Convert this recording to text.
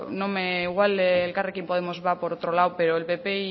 igual elkarrekin podemos va por otro lado pero